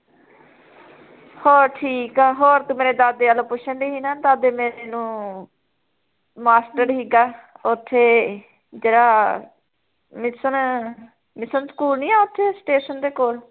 ਹੋਰ ਠੀਕ ਐ ਹੋਰ ਤੂੰ ਮੇਰੇ ਦਾਦੇ ਵੱਲ ਪੁੱਛਣ ਡਈ ਸੀ ਨਾ ਦਾਦੇ ਮੇਰੇ ਨੂੰ ਮਾਸਟਡ ਸੀਗਾ ਓਥੇ, ਜਿਹੜਾ ਮਿਸਨ mission ਸਕੂਲ ਨੀ ਐ ਓਥੇ station ਦੇ ਕੋਲ